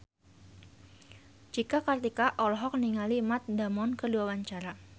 Cika Kartika olohok ningali Matt Damon keur diwawancara